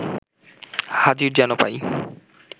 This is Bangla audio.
হাজির যেন পাই